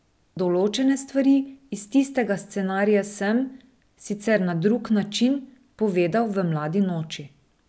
Določene stvari iz tistega scenarija sem, sicer na drug način, povedal v Mladi noči.